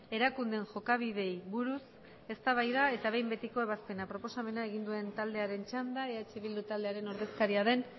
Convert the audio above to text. erakundeen jokabideei buruz eztabaida eta behin betiko ebazpena proposamena egin duen taldearen txanda eh bildu taldearen ordezkaria den